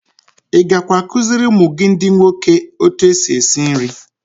I gakwa akụziiri ụmụ gị ndị nwoke otu esi esi nri.